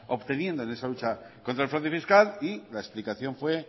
obteniendo en esa lucha contra el fraude fiscal y la explicación fue